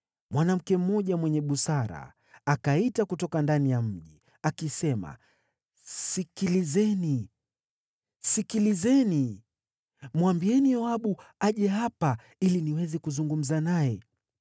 mwanamke mmoja mwenye busara akaita kutoka ndani ya mji, akisema, “Sikilizeni! Sikilizeni! Mwambieni Yoabu aje hapa ili niweze kuzungumza naye.”